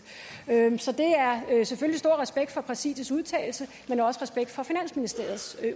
så der er selvfølgelig stor respekt for præsidiets udtalelser men også respekt for finansministeriets